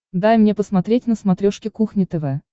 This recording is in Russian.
дай мне посмотреть на смотрешке кухня тв